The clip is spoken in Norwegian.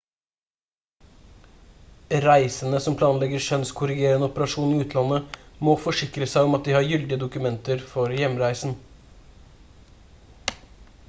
reisende som planlegger kjønnskorrigerende operasjon i utlandet må forsikre seg om at de har gyldige dokumenter for hjemreisen